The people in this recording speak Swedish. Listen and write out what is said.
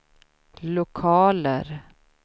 lokaler